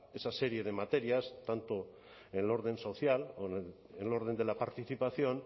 esa serie de materias tanto en el orden social o en el orden de la participación